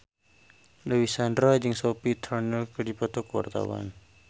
Dewi Sandra jeung Sophie Turner keur dipoto ku wartawan